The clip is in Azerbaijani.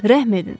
Rəhm edin.